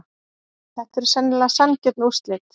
Þetta eru sennilega sanngjörn úrslit.